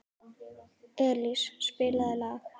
Elís, spilaðu lag.